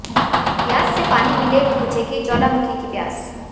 ब्यास से पानी मिले तो बुझेगी ज्वालामुखी की प्यास